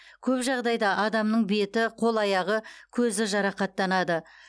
көп жағдайда адамның беті қол аяғы көзі жарақаттанады